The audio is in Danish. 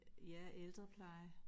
Ja ældrepleje